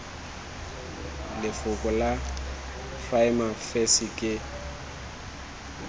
lefoko la prima facie ke